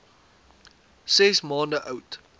ses maande oud